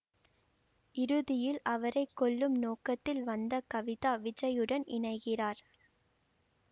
இறுதியில் அவரை கொல்லும் நோக்கத்தில் வந்த கவிதா விஜயுடன் இணைகிறார்